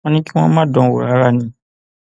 wọn ní kí wọn má dán an wò rárá ni